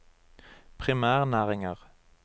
primærnæringer